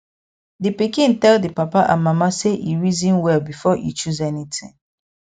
di pikin tell di papa and mama say e reason well before e choose anything